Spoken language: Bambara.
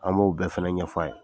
An bo bɛɛ fɛnɛ ɲɛ fɔ' ye